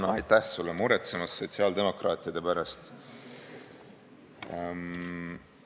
Hea Hanno, aitäh sulle muretsemise eest sotsiaaldemokraatide pärast!